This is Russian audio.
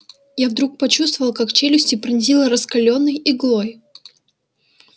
я вдруг почувствовал как челюсти пронзило раскалённой иглой